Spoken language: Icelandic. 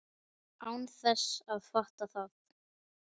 Án þess að fatta það.